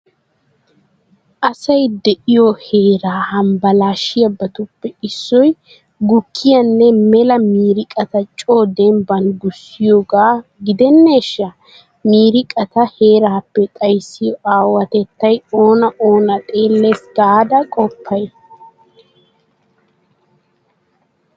Asay de'iyo Heeraa hambbalaashshiyabatuppe issoy gukkiyanne mela miiriqata coo dembban gussiyogaa gidenneeshsha? Miiriqata heeraappe xayssiyo aawatettay oona oona xeellees garda qoppay?